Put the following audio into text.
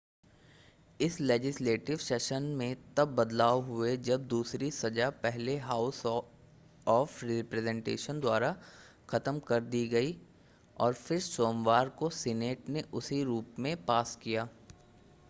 इस legislative session में तब बदलाव हुए जब दूसरी सज़ा पहले हाउस ऑफ़ रिप्रेजेन्टेटिव्ज़ द्वारा ख़त्म कर दी गई और फिर सोमवार को सीनेट ने उसी रूप में पास किया